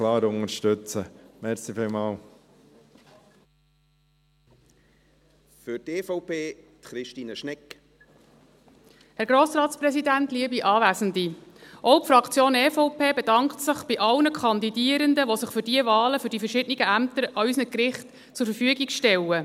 Auch die Fraktion EVP bedankt sich bei allen Kandidierenden, die sich für diese Wahlen für die verschiedenen Ämter an unseren Gerichten zur Verfügung stellen.